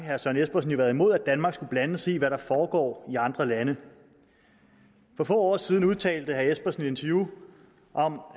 været imod at danmark skulle blande sig i hvad der foregår i andre lande for få år siden udtalte herre espersen interview om